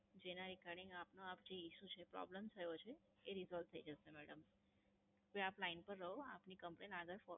જેના Regarding આપને Issue છે Problem થયો છે એ Resolve થઈ જશે મેડમ. હવે આપ Line પર રહો આપની Complain આગળ ફોર